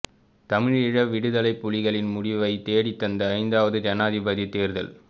தமிழீழ விடுதலைப் புலிகளின் முடிவைத் தேடித்தந்த ஐந்தாவது ஜனாதிபதித் தேர்தல்